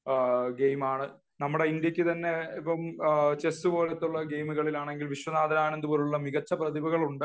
ഗെയിമാണ് നമ്മുടെ ഇന്ത്യക്ക് തന്നെ ഇപ്പം ചെസ്സ് പോലെയുള്ള ഗെയിമുകളിൽ ആണെങ്കിൽ വിശ്വനാഥൻ ആനന്ദ് പോലുള്ള മികച്ച പ്രതിഭകൾ ഉണ്ട് .